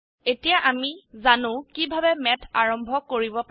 এতিয়া আমি জানো কিভাবে ম্যাথ আৰম্ভ কৰিব পাৰি